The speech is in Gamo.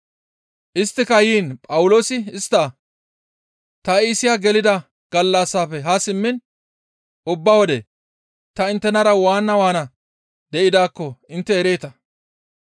Isttika yiin Phawuloosi istta, «Ta Iisiya gelida gallassafe haa simmiin ubba wode ta inttenara waana waana de7idaakko intte ereeta.